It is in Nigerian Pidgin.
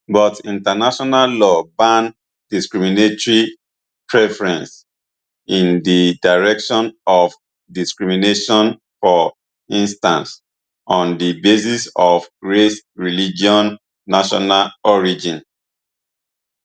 but international law ban discriminatory preferences in di direction of discrimination for instance on di basis of race religion national origin